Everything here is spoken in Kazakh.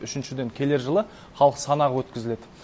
үшіншіден келер жылы халық санағы өткізіледі